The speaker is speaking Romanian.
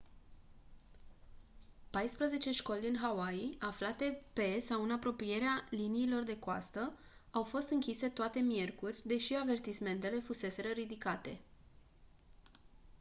paisprezece școli din hawaii aflate pe sau în apropierea liniilor de coastă au fost închise toate miercuri deși avertismentele fuseseră ridicate